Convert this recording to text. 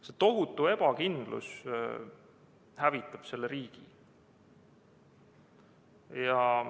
See tohutu ebakindlus hävitab selle riigi.